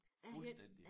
Fuldstændig